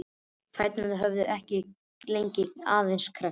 Fæturnir höfðu ekkert lengst, aðeins kreppst.